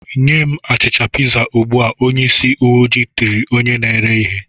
"Nye m achịcha piza ugbu a!" Onyeisi uweojii tiri onye na-ere ihe.